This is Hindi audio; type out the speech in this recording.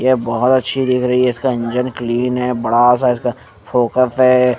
ये बहुत अच्छी दिख रही है इसका इंजन क्लीन है बड़ा सा इसका फोकस हैं ।